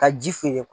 Ka ji feere